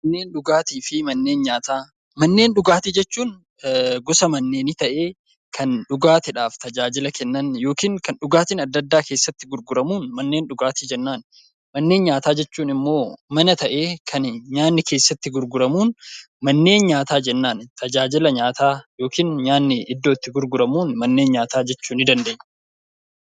Manneen dhugaatii fi nyaataa Manneen dhugaatii jechuun gosa dhugaatii ta'ee, kan dhugaatiidhaaf tajaajila kennan yookaan kan dhugaatiin addaa addaa keessatti gurguraman manneen dhugaatii jennaan. Manneen nyaataa jechuun immoo mana ta'ee kan nyaanni keessatti gurguramuun manneen nyaataa jennaan. Mana nyaanni itti gurguramuun manneen nyaataa jechuu ni dandeenya.